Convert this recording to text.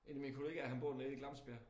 En af mine kollegaer han bor nede i Glemsbjerg